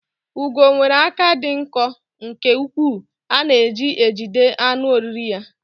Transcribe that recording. Ugo nwere aka dị nkọ nke ukwuu a na-eji ejide anụ oriri ya.